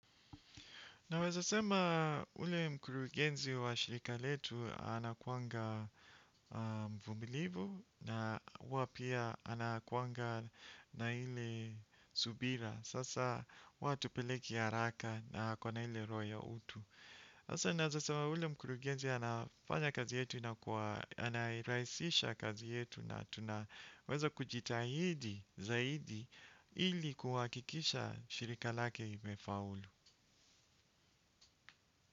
Naweza sema ule mkurugenzi wa shirika letu anakuanga mvumilivu na wapia anakuanga na ile subira. Sasa watu peleki ya raka na kwa na hile roya utu. Sasa naweza sema yule mkurugenzi wetu anafanya anarahisisha kazi yetu zaido na tunajutahidi ili kuhakikisha.